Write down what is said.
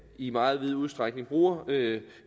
i meget vid udstrækning bruger